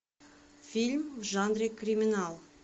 фильм в жанре криминал